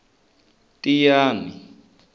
tiyani